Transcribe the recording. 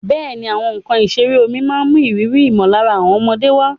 Bẹ́ẹ̀ni, àwọn nkan ìṣeré omi máa ń mú ìrírí ìmọ̀lára àwọn ọmọdé wá.